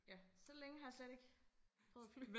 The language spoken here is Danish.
Ja så længe har jeg slet ikke prøvet og flyve